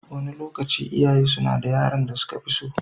Wani lokaci, iyaye suna da yaron da suka fi so.